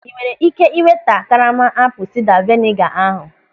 Ị nwere ị́ké iweta karama apụl sida veniga ahụ?